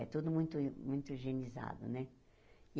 É tudo muito muito higienizado, né?